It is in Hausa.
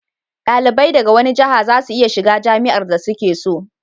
dalibai daga wani jaha za su iya shiga jami'ar da su ke so